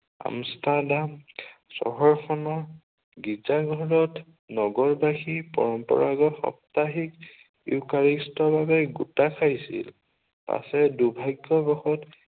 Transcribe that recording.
Amsterdam চহৰখনৰ গীৰ্জা ঘৰত নগৰ বাসীৰ পৰম্পৰাগত সাপ্তাহিক ইউকাৰেষ্টৰ বাবে গোটা খাইছিল। পাছে দুৰ্ভাগ্য়বশত